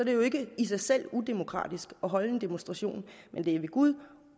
det jo ikke i sig selv udemokratisk at holde demonstration men det er ved gud